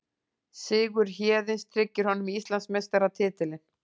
Sigur Héðins tryggir honum Íslandsmeistaratitilinn